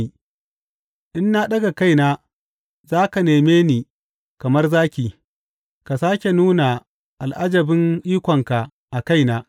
In na ɗaga kaina, za ka neme ni kamar zaki ka sāke nuna al’ajabin ikonka a kaina.